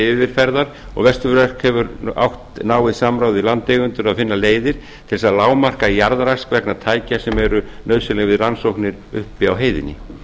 yfirferðar og vesturverk hefur átt náið samstarf við landeigendur að finna leiðir til þess að lágmarka jarðrask vegna tækja sem eru nauðsynleg við rannsóknir uppi á heiðinni